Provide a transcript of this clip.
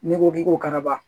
N'i ko k'i ko karaba